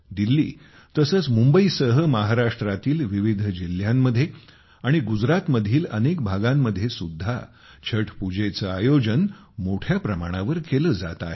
दिल्ली तसेचमुंबईसह महाराष्ट्रातील विविध जिल्ह्यांमध्ये आणि गुजरातमधील अनेक भागांमध्ये सुद्धा छठपुजेचे आयोजन मोठ्या प्रमाणावर केले जाते आहे